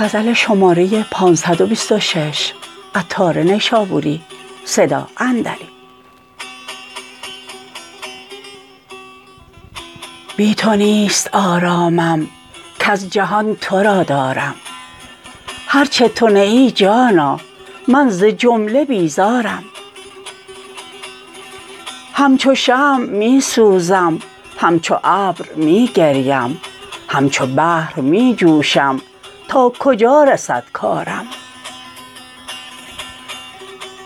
بی تو نیست آرامم کز جهان تو را دارم هرچه تو نه ای جانا من ز جمله بیزارم همچو شمع می سوزم همچو ابر می گریم همچو بحر می جوشم تا کجا رسد کارم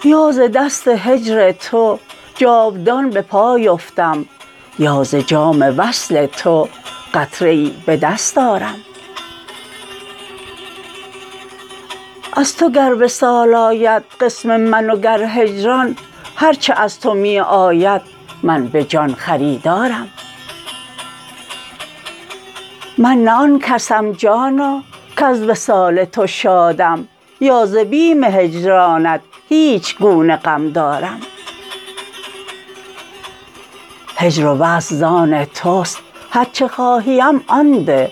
یا ز دست هجر تو جاودان به پای افتم یا ز جام وصل تو قطره ای به دست آرم از تو گر وصال آید قسم من وگر هجران هرچه از تو می آید من به جان خریدارم من نه آن کسم جانا کز وصال تو شادم یا ز بیم هجرانت هیچ گونه غم دارم هجر و وصل زان توست هرچه خواهیم آن ده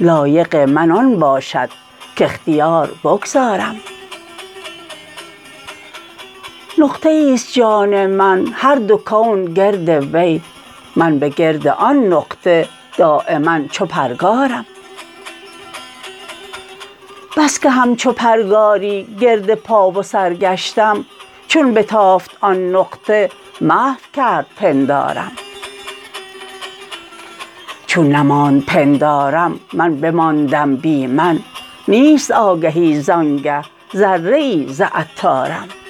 لایق من آن باشد کاختیار بگذارم نقطه ای است جان من هر دو کون گرد وی من به گرد آن نقطه دایما چو پرگارم بسکه همچو پرگاری گرد پاو سر گشتم چون بتافت آن نقطه محو کرد پندارم چون نماند پندارم من بماندم بی من نیست آگهی زانگه ذره ای ز عطارم